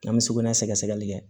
An bɛ sugunɛ sɛgɛsɛgɛli kɛ